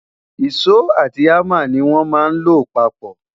iso àti hamá ní wón má ló papó